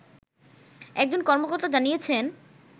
একজন কর্মকর্তা জানিয়েছেন